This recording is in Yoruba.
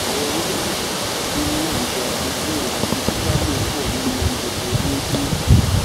àwọn ewébẹ tútù tútù tó ní ní èròjà protein àti fítámì pọ nínú oúnjẹ rẹ déédéé